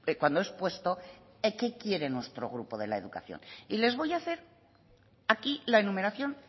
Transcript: cuando he expuesto qué quiere nuestro grupo de la educación y les voy a hacer aquí la enumeración